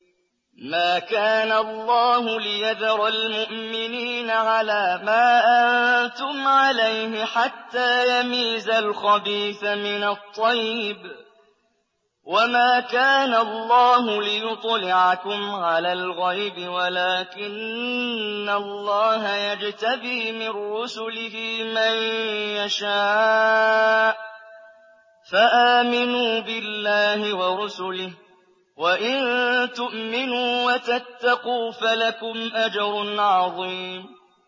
مَّا كَانَ اللَّهُ لِيَذَرَ الْمُؤْمِنِينَ عَلَىٰ مَا أَنتُمْ عَلَيْهِ حَتَّىٰ يَمِيزَ الْخَبِيثَ مِنَ الطَّيِّبِ ۗ وَمَا كَانَ اللَّهُ لِيُطْلِعَكُمْ عَلَى الْغَيْبِ وَلَٰكِنَّ اللَّهَ يَجْتَبِي مِن رُّسُلِهِ مَن يَشَاءُ ۖ فَآمِنُوا بِاللَّهِ وَرُسُلِهِ ۚ وَإِن تُؤْمِنُوا وَتَتَّقُوا فَلَكُمْ أَجْرٌ عَظِيمٌ